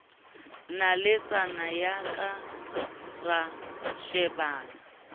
naletsana ya ka ra shebana